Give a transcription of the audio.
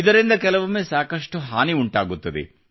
ಇದರಿಂದ ಕೆಲವೊಮ್ಮೆ ಸಾಕಷ್ಟು ಹಾನಿ ಉಂಟಾಗುತ್ತದೆ